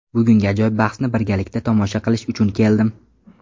Bugungi ajoyib bahsni birgalikda tomosha qilish uchun keldim.